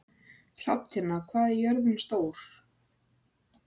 Hrafntinna, hvað er jörðin stór?